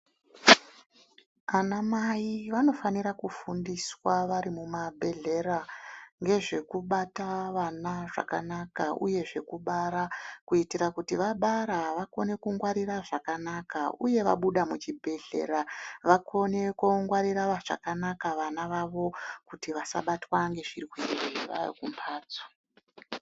Ana Mai vanofanira kufundiswa vari mumabhedhlera ngezvekubata vana zvakanaka uye zvekubara kuitira kuti vabara vakone kungwarira zvakanaka uye vabuda muchibhedhlera vakone koongwarira zvakanaka vana vavo kuti vasabatwa ngezvirwere vaakumbhatso.